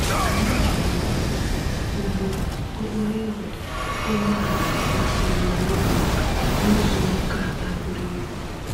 Anyị ji ụkwụ, ụgbọ okporo igwe, ụgbọala nakwa ịnyịnya igwe rụzuo okeala a buru ibu.